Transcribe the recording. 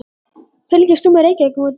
Fylgist þú með Reykjavíkurmótinu?